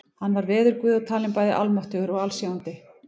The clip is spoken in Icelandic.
Hann var veðurguð og talinn bæði almáttugur og alsjáandi.